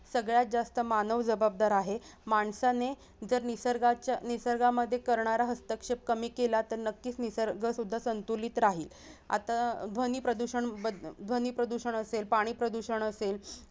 सगळ्यात जास्त मानव जबाबदार आहे माणसाने जर निसर्गाचं-निसर्गामध्ये करणारा हस्तक्षेप कमी केला तर नक्कीच निसर्ग सुध्दा संतुलित राहील आता ध्वनी प्रदुषण ध्वनी प्रदुषण असेल पाणी प्रदूषण असेल